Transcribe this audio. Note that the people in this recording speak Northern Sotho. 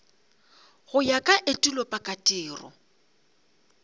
go ya ka etulo pakatiro